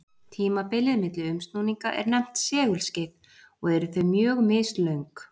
Tímabilið milli umsnúninga er nefnt segulskeið og eru þau mjög mislöng.